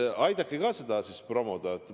Aga aidake siis seda promoda!